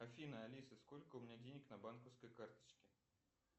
афина алиса сколько у меня денег на банковской карточке